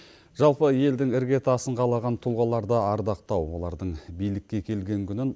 жалпы елдің іргетасын қалаған тұлғаларды ардақтау олардың билікке келген күнін